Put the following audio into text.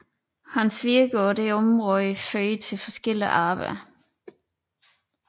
Hans virke på dette område førte til forskellige arbejder